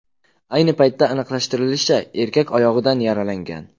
Ayni paytda aniqlashtirilishicha, erkak oyog‘idan yaralangan.